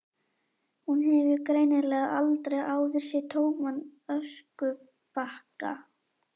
Hún hefur greinilega aldrei áður séð tóman öskubakka.